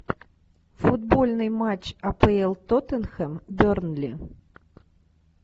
футбольный матч апл тоттенхэм бернли